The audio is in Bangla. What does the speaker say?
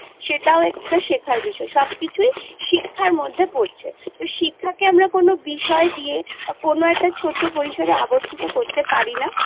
সেটাও একটা শেখার বিষয় সব কিছুই শিক্ষার মধ্যে পড়ছে তো শিক্ষাকে আমরা কোনো বিষয় দিয়ে কোনো একটা ছোট পরিসরে আবদ্ধিত করতে পারি না